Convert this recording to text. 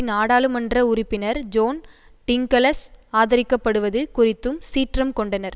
நாடாளுமன்ற உறுப்பினர் ஜோன் டிங்கலஸ் ஆதரிக்கப்டுவது குறித்தும் சீற்றம் கொண்டனர்